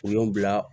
U y'o bila